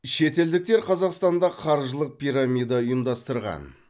шетелдіктер қазақстанда қаржылық пирамида ұйымдастырған